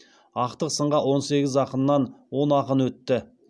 ақтық сынға он сегіз ақыннан он ақын өтті